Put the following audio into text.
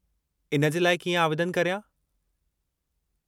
इन जे लाइ कीअं आवेदनु करियां?